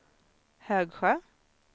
Högsjö